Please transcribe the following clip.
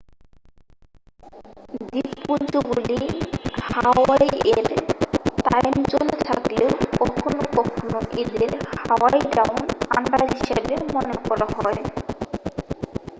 দ্বীপপুঞ্জগুলি হাওয়াইয়ের টাইমজোনে থাকলেও কখনও কখনও এদের হাওয়াই ডাউন আন্ডার' হিসাবে মনে করা হয়